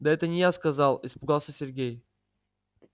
да это не я сказал испугался сергей